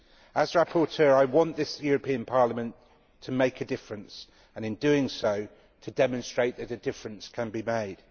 As rapporteur, I want this European Parliament to make a difference and, in doing so, to demonstrate that a difference can be made.